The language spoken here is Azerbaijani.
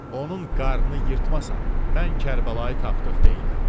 Onun qarnını yırtmasam, mən Kərbəlayı tapdıq deyiləm.